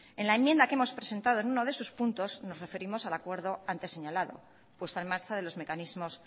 en la enmienda que hemos presentado de uno esos los puntos nos referimos al acuerdo antes señalado puesta en marcha de los mecanismos